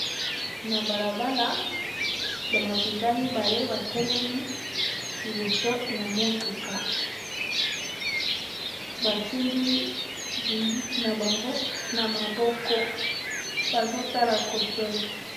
Na balabala ba mapinga mibale batelemi liboso ya motuka basimbi bunduki na bango na maboko bazo tala kotoyo.